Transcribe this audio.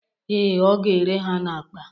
Ee, ọ ga-ere ha n'akpa